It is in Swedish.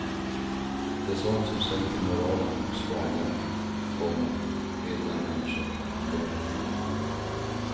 Det är sånt som sänker moralen hos vanliga, komma hederliga människor. punkt